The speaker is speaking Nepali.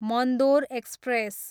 मन्दोर एक्सप्रेस